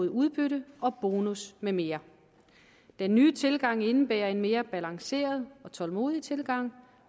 af udbytte bonusser med mere den nye tilgang indebærer en mere afbalanceret og tålmodig tilgang